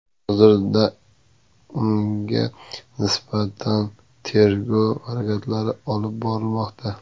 Hozirda unga nisbatan tergov harakatlari olib borilmoqda.